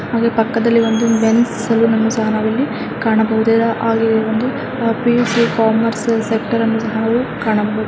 '' ಹಾಗೆ ಪಕ್ಕದಲ್ಲಿ ಒಂದು ಮೆನ್ಸ್ ಸಲೂನ್ ಅನ್ನು ಸಹ ನಾವು ಇಲ್ಲಿ ಕಾಣಬಹುದು ಇದರ ಹಾಗೆಯೆ ಒಂದು ಪಿ.ಯು.ಸಿ. ಕಾಮರ್ಸ್ ಸೆಕ್ಟರ್ ಅನ್ನು ಸಹ ನಾವು ಕಾಣಬಹುದು. ''